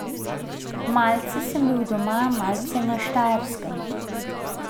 Malce sem bil doma, malce na Štajerskem.